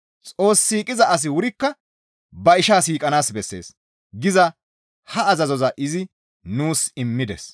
«Xoos siiqiza asi wurikka ba ishaa siiqanaas bessees» giza ha azazoza izi nuus immides.